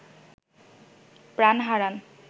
প্রাণ হারান